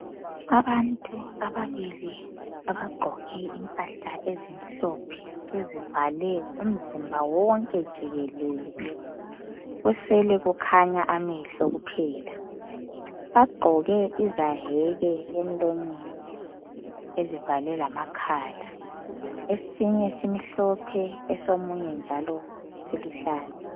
Abantu ababili abagqoke impahla ezimhlophe ezivale umzimba wonke jikelele kusele kukhanya amehlo kuphela. Bagqoke izayeke emlonyeni ezivale lamakhala esinye simhlophe esomunye njalo siluhlaza.